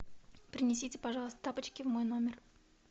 принесите пожалуйста тапочки в мой номер